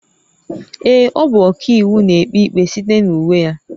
Ee, ọ bụ ọkàiwu, na-ekpe ikpe site na uwe ya